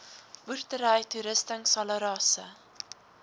boerdery toerusting salarisse